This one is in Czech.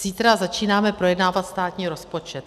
Zítra začínáme projednávat státní rozpočet.